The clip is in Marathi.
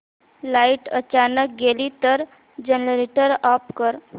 लाइट अचानक गेली तर जनरेटर ऑफ कर